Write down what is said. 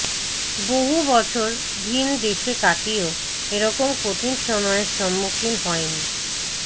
বহু বছর ভিন দেশে কাটিয়েও এ রকম কঠিন সময়ের সম্মুখীন হইনি